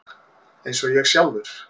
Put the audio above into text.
Eins og ég sjálfur.